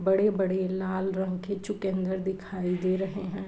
बड़े-बड़े लाल रंग के चुकंदर दिखाई दे रहे हैं। .